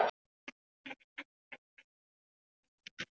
Hún strýkur honum um hárið en leiðist það.